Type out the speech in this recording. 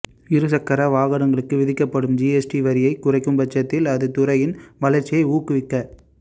இருசக்கர வாகனங்களுக்கு விதிக்கப்படும் ஜிஎஸ்டி வரியை குறைக்கும்பட்சத்தில் அது துறையின் வளா்ச்சியை ஊக்குவிக்க